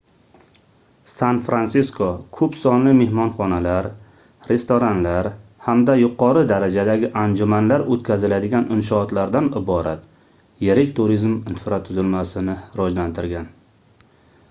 san-fransisko koʻp sonli mehmonxonalar restoranlar hamda yuqori darajadagi anjumanlar oʻtkaziladigan inshootlardan iborat yirik turizm infratuzilmasini rivojlantirgan